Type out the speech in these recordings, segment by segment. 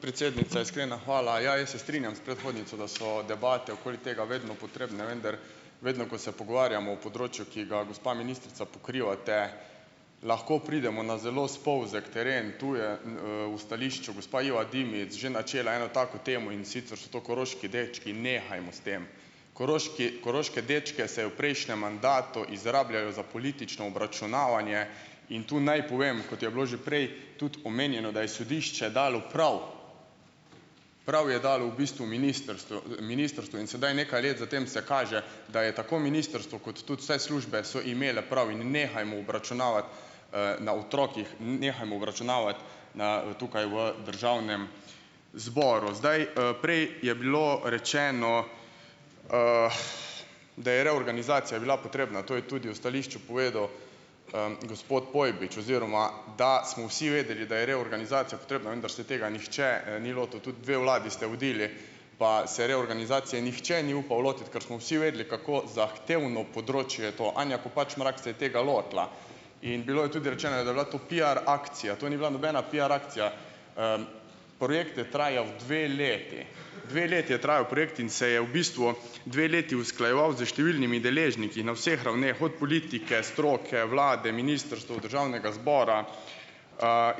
Predsednica, iskrena hvala. Ja, jaz se strinjam s predhodnico, da so debate okoli tega vedno potrebne. Vendar vedno, ko se pogovarjamo o področju, ki ga, gospa ministrica, pokrivate, lahko pridemo na zelo spolzek teren. Tu je, v stališču gospa Iva Dimic že načela eno tako temo, in sicer so to koroški dečki. Nehajmo s tem. Koroški, koroške dečke se je v prejšnjem mandatu izrabljalo za politično obračunavanje. In tu naj povem, kot je bilo že prej tudi omenjeno, da je sodišče dalo prav prav je dalo v bistvu ministrstvo ministrstvu. In sedaj nekaj let za tem se kaže, da je tako ministrstvo kot tudi vse službe so imele prav. In nehajmo obračunavati, na otrocih, nehajmo obračunavati na tukaj v državnem zboru zdaj, Prej je bilo rečeno, da je reorganizacija bila potrebna. To je tudi v stališču povedal, gospod Pojbič, oziroma da smo vsi vedeli, da je reorganizacija potrebna, vendar se tega nihče, ni lotil. Tudi dve vladi ste vodili, pa se reorganizacije nihče ni upal lotiti, kar smo vsi vedeli, kako zahtevno področje je to. Anja Kopač Mrak se je tega lotila. In bilo je tudi rečeno, da je bila to piar akcija. To ni bila nobena piar akcija. Projekt je trajal dve leti. Dve leti je trajal projekt in se je v bistvu dve leti usklajeval s številnimi deležniki na vseh ravneh, od politike, stroke, vlade, ministrstva, državnega zbora,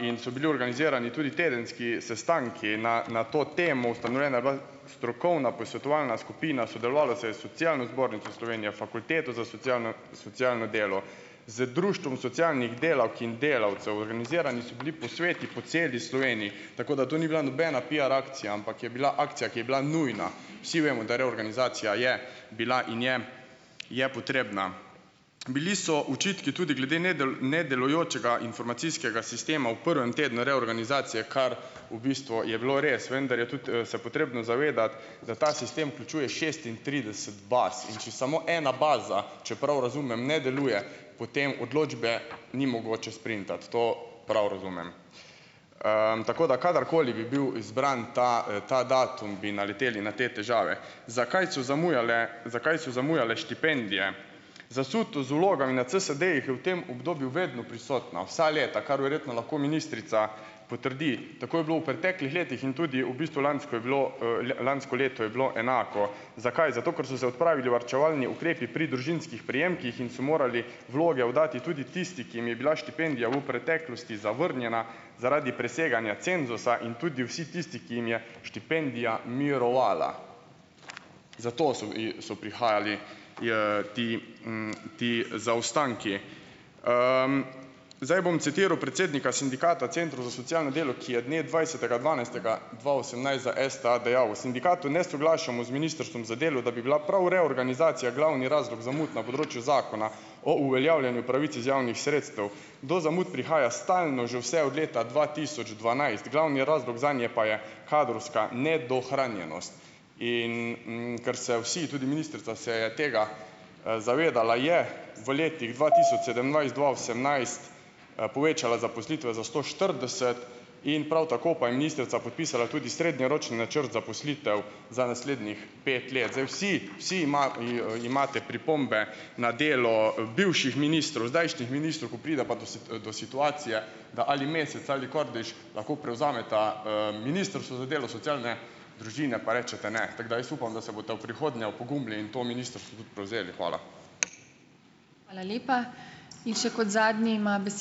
in so bili organizirani tudi tedenski sestanki na na to temo. Ustanovljena je bila strokovna posvetovalna skupina. Sodelovalo se je s Socialno zbornico Slovenije, Fakulteto za socialno socialno delo, z Društvom socialnih delavk in delavcev, organizirani so bili posveti po celi Sloveniji. Tako da to ni bila nobena piar akcija, ampak je bila akcija, ki je bila nujna. Vsi vemo, da reorganizacija je bila in je je potrebna. Bili so očitki tudi glede nedelujočega informacijskega sistema v prvem tednu reorganizacije, kar v bistvu je bilo res, vendar je tudi, se potrebno zavedati, da ta sistem vključuje šestintrideset baz. In če samo ena baza, če prav razumem, ne deluje, potem odločbe ni mogoče sprintati. To prav razumem. tako da. Kadarkoli bi bil izbran ta, ta datum, bi naleteli na te težave. Zakaj so zamujale, zakaj so zamujale štipendije? Zasutost z vlogami na CSD-jih je v tem obdobju vedno prisotna, vsa leta, kar verjetno lahko ministrica potrdi. Tako je bilo v preteklih letih in tudi v bistvu lansko je bilo, lansko leto je bilo enako. Zakaj? Zato, ker so se odpravili varčevalni ukrepi pri družinskih prejemkih in so morali vloge oddati tudi tisti, ki jim je bila štipendija u preteklosti zavrnjena zaradi preseganja cenzusa in tudi vsi tisti, ki jim je štipendija mirovala. Zato so so prihajali, ti, ti zaostanki. zdaj bom citiral predsednika Sindikata centrov za socialno delo, ki je dne dvajsetega dvanajstega dva osemnajst za STA dejal: "V sindikatu ne soglašamo z Ministrstvom za delo, da bi bila prav reorganizacija glavni razlog zamud na področju zakona o uveljavljanju pravic iz javnih sredstev. Do zamud prihaja stalno, že vse od leta dva tisoč dvanajst. Glavni razlog zanje pa je kadrovska nedohranjenost." In, ker se vsi, tudi ministrica, se je tega, zavedala je v letih dva tisoč sedemnajst- dva osemnajst, povečala zaposlitve za sto štirideset, in prav tako pa je ministrica podpisala tudi srednjeročni načrt zaposlitev za naslednjih pet let. Zdaj vsi vsi imate pripombe na delo bivših ministrov, zdajšnjih ministrov. Ko pride pa do do situacije, da ali Mesec ali Kordeš lahko prevzameta, Ministrstvo za delo, socialne družine, pa rečete ne. Tako da jaz upam, da se boste v prihodnje opogumili in to ministrstvo tudi prevzeli. Hvala.